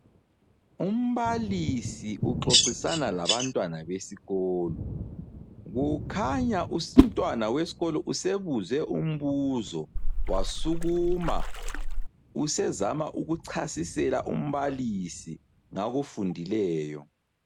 Umbalisi uxoxisana labantwana besikolo. Kukhanya umntwana wesikolo usebuzwe umbuzo wasukuma, usezama ukuchasisela umbalisi ngakufundileyo.